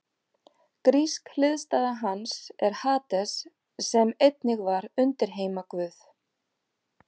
Grísk hliðstæða hans er Hades sem einnig var undirheimaguð.